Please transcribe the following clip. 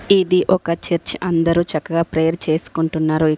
ఇది ఒక చర్చ్ అందరూ చక్కగా ప్రేయర్ చేసుకుంటున్నారోయ్.